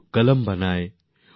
পুক্কলম তৈরী করেন